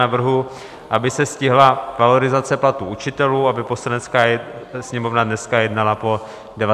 Navrhuji, aby se stihla valorizace platů učitelů, aby Poslanecká sněmovna dneska jednala po 19. hodině.